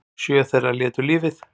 Sjö þeirra létu lífið